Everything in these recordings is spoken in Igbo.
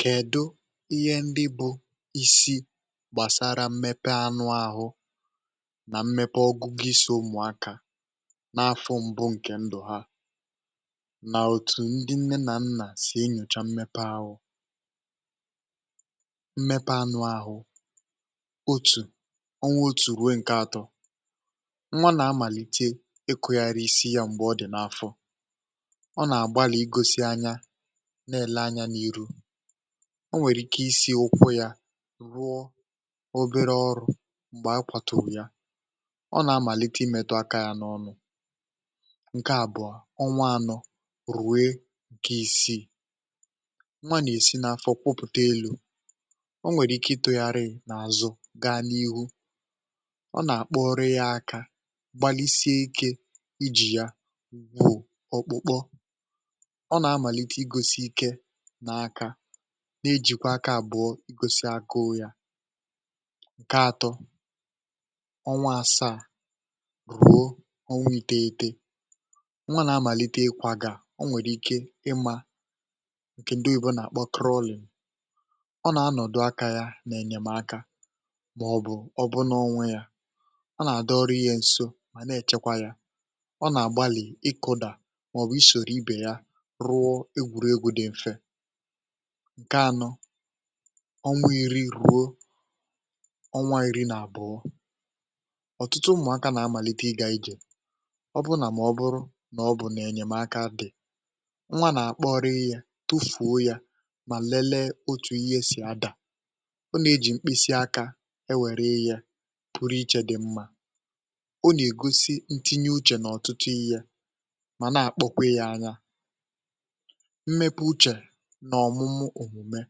Kèdụ ihé ndị bụ isi gbàsàrà mmepe anụ áhụ nà mmepe ọgụgụ ísì ụmụaka nà afọ mbụ ǹkè ndụ̀ ha nà òtù ndị nne nà nnà sì enyòcha mmepe áhụ? Mmepe anụ áhụ otù onwa otù rue ǹkè atọ nwa nà-amàlite ịkụ ghari isi yȧ m̀gbè ọ dị̀ n’afọ, ọ ná ágbáli igosi anyȧ ná ele ányá n’iru o nwèrè ike isi̇ ụkwụ yȧ rụọ obere ọrụ̇ m̀gbè a kwàturu ya, ọ nà-amàlite imėtụ akȧ yȧ n’ọnụ̇. Nkè àbụ̀ọ, ọnwa ȧnọ̇ rùwe ǹkè isi̇ nwa nà-èsi n’afọ̀ kwụ̀pụ̀ta elu̇ o nwèrè ike ịtụ̇gharị nà àzụ gaa n’ihu ọ nà-àkpọrịȧ yȧ aka gbalisie ike ijì yȧ ọ̀kpụ̀kpọ, ọ ná amalite igosi ike na-akȧ n’ejìkwà aka àbụọ i gosi yȧ. Nkè atọ, ọnwa àsaa ruo ọnwa ìtèghete nwa na-amàlite ị kwagà o nwèrè ike ịmȧ ǹkè ndị òyibo nà-àkpọ crawling ọ nà-anọ̀dụ̀ aka yȧ nà-ènyèm akȧ màọ̀bụ̀ ọbụ n’onwe yȧ ọ nà-àdọrụ ihé ǹso mà na-èchekwa yȧ ọ nà ágbáli ị kụ̇dà màọ̀bụ̀ ịsòrò ibè yá rụọ egwuregwu dị mfè. Nkè ȧnọ, ọnwụ̇ iri ruo ọnwa ìri nà àbụọ ọ̀tụtụ mmụ̇akȧ nà àmàlite ịgȧ ijè ọ bụ nà mà ọ bụrụ nà ọ bụ̀ nà ènyèmaka dị̀ nwa nà àkpọrị yȧ tufùo yȧ mà lelee otu ihé sì adà ọ nà e jì mkpịsị akȧ e wère ìhè pụrụ ichė dị̇ mmȧ ọ nà ègosi ntinye uchè nà ọ̀tụtụ ìhè mà na àkpọkwị ya ányá mmepụ uche nà ọmụmụ èmùme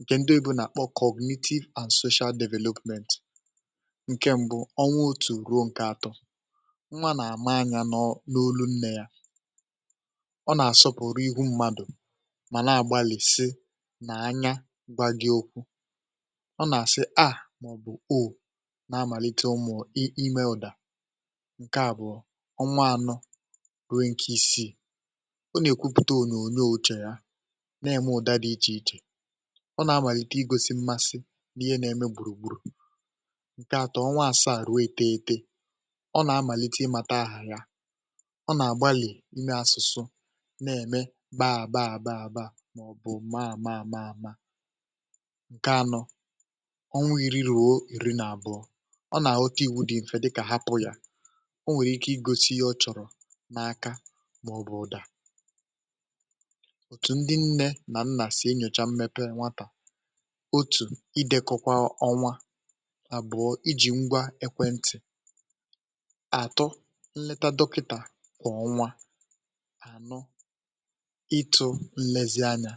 ǹkè ndị òyibo nà-àkpọ cognitive and social development. Ǹkè mbụ ọnwa otù ruo ǹkè àtọ nwa nà àma ányá n’olu nnè yá ọ nà àsọpụ̀rụ ihu mmadụ mà na àgbalìsi nà anya gbagị okwu, ọ nà àsị aa màọ̀bụ̀ o nà amàlite ụmụ̀ ime ụ̀dà. Nkè àbụọ ọnwa anọ rue ǹke isiì ọ ná èkwuputa ónyonyó uche yá na-ème ụ̀da dị̇ ichè ichè ọ nà-amàlite igosi mmasị n’ihé na-eme gbùrù gburù. Ǹkè àtọ́ ọnwa asaà ruo ìtèghete, ọ nà-amàlite ịmȧta ahà ya ọ nà-àgbalì ime asụ̀sụ na-ème baá baá baá baá màọ̀bụ̀ maa maa maa maa. Nkè anọ ọnwa iri̇ ruo ìri nà abụọ̇, ọ nà-àghọta iwu̇ dị̇ mfẹ̀ dịkà hapụ̇ yȧ o nwèrè ike igosi iye ọ chọ̀rọ̀ n’aka màọ̀bụ̀ ụ̀dà. Òtù ndị nne ná nna si enyocha mmepe nwata, otú idekọkwa ọnwa àbụọ ịjị̀ ngwa ekwentị̀ àtụ nleta dọkịta kwà ọnwa anụ ịtụ̇ nlezianyà.